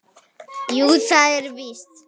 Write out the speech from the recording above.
Jú, það er víst.